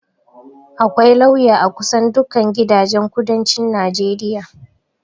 akwai lauya a kusan duka gidajen kudancin najeriya